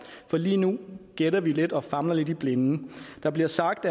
for lige nu gætter vi lidt og famler vi lidt i blinde der bliver sagt